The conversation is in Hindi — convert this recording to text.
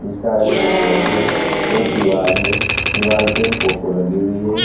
इसका रंग सफेद है एक दीवाल है दीवाल पे फोटो लगी हुई है।